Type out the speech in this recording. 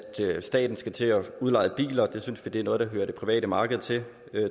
staten skal til at udleje biler det synes vi er noget der hører det private marked til